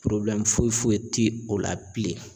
Porobilɛmu foyi foyi ti o la bilen